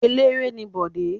Eléré ni Bọ̀dé.